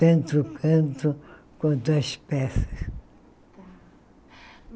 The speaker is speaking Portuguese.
Tanto o canto quanto as peças.